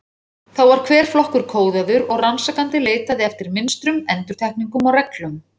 Þá var hver flokkur kóðaður og rannsakandi leitaði eftir, mynstrum, endurtekningum og reglum.